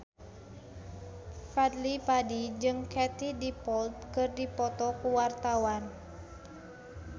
Fadly Padi jeung Katie Dippold keur dipoto ku wartawan